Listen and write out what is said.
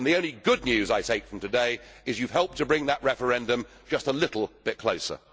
The only good news I take from today is that you have helped to bring that referendum just a little bit closer.